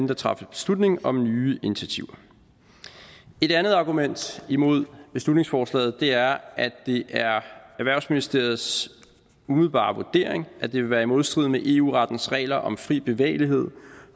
der træffes beslutning om nye initiativer et andet argument imod beslutningsforslaget er at det er erhvervsministeriets umiddelbare vurdering at det vil være i modstrid med eu rettens regler om fri bevægelighed